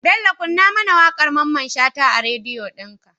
Bello kunna mAna waƙar mamman shata a radio din ka